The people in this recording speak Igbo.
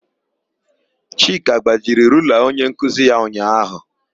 Chika gbajiri rula onyenkuzi ya ụnyaahụ.